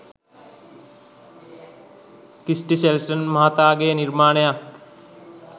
Christie Shelton මහත්මයාගේ නිර්මාණයක්.